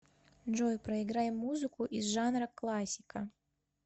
джой проиграй музыку из жанра классика